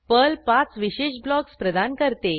Perl पाच विशेष blocks प्रदान करते